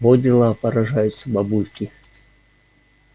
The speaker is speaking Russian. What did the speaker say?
во дела поражаются бабульки